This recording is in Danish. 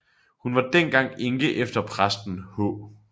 Hun var dengang enke efter præsten H